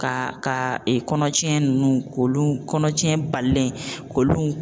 Ka ka kɔnɔcɛn ninnu k'olu kɔnɔcɛn balilen k'olu